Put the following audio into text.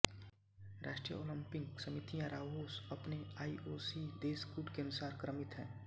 राष्ट्रीय ओलम्पिक समितियाँ राओस अपने आईओसी देश कूट के अनुसार क्रमित हैं